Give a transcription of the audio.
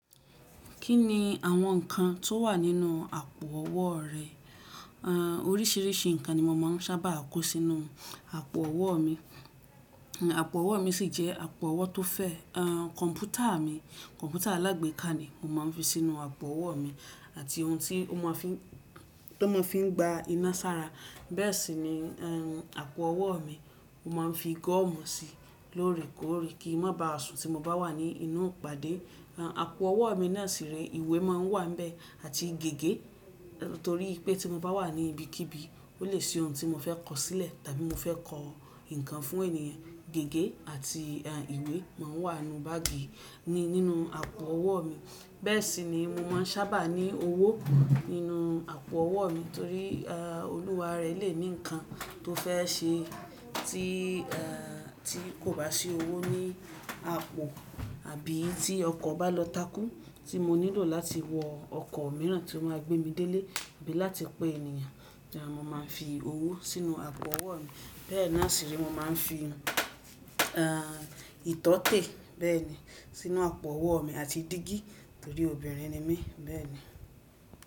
Kí ni àwọn nǹkan tó wà nínú àpò ọwọ́ rẹ? Orísìírísìí nǹkan ni mo máa ń sábà kó sínú àpò ọwọ́ mi. Àpò ọwọ́ mi sì jẹ́ àpò ọwọ́ tó fẹ̀. Kọ̀m̀pútà mi, kọ̀m̀pútà alágbèéká ni mo máa ń fi sínú àpò ọwọ́ mi àti ohun tó máa fi ń gba iná sára. Bẹ́ẹ̀ sì ni àpò ọwọ́ mi, mo máa ń fi gọ́ọ̀mù sí i lóorí kóorí kí má baà sùn tí mo bá wà ní inú ìpàdé. Àpò ọwọ́ mi náà sì re ìwé máa ń wà níbẹ̀ àti gègé torí pé tí mo bá wà ní ibikíbi, ó lè ṣe ohun tí mo fẹ́ kọ̀sílẹ̀ tàbí mo fẹ́ kọ̀ ǹkan fún ènìyàn. Gègé àti ìwé máa wà nínú báàgì nínú àpò ọwọ́ mi. Bẹ́ẹ̀ sì ni mo máa ń sábà ní owó nínú àpò ọwọ́ mi torí olúware lè ní nǹkan tó fẹ́ ṣe tí kò bá sí owó ní àpò àbí tí ọkọ̀ bá lọ takú tí mo nílò láti wọ ọkọ̀ mìíràn tí ó máa gbé mi délé àbí láti pé ènìyàn. Hán mo máa ń fi owó sínú àpò ọwọ́ mi. Bẹ́ẹ̀ náà sì re, mo máa ń fi ìtọ́tè bẹ́ẹ̀ ni sínú àpò ọwọ́ mi àti dígí torí obìnrin ni mí bẹ́ẹ̀ ni.